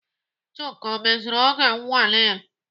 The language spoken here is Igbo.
Chuka ọ mezuru oge nnwale ya?